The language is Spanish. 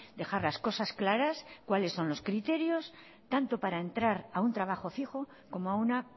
dejar las cosas claras cuáles son los criterios tanto para entrar a un trabajo fijo como a una